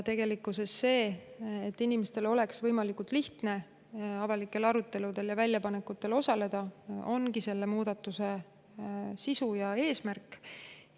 Tegelikkuses see, et inimestel oleks võimalikult lihtne avalikel aruteludel ja väljapanekutel osaleda, ongi selle muudatuse sisu ja eesmärk.